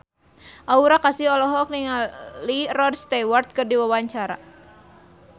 Aura Kasih olohok ningali Rod Stewart keur diwawancara